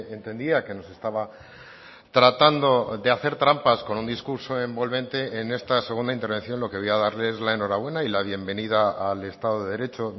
entendía que nos estaba tratando de hacer trampas con un discurso envolvente en esta segunda intervención lo que voy a darle es la enhorabuena y la bienvenida al estado de derecho